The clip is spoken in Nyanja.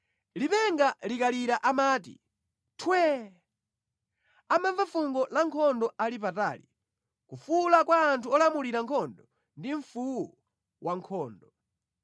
Lipenga likalira amati, ‘Twee!’ Amamva fungo la nkhondo ali patali, kufuwula kwa anthu olamulira nkhondo ndi mfuwu wankhondo.